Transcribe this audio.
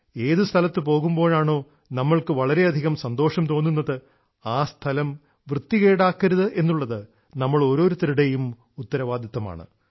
ഏതു സ്ഥലത്തു പോകുമ്പോഴാണോ നമുക്ക് വളരെയധികം സന്തോഷം തോന്നുന്നത് ആ സ്ഥലം വൃത്തികേടാക്കരുത് എന്നുള്ളത് നമ്മൾ ഓരോരുത്തരുടെയും ഉത്തരവാദിത്തമാണ്